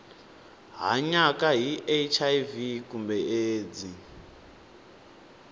hanyaka na hiv kumbe aids